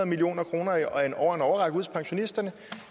million kroner hos pensionisterne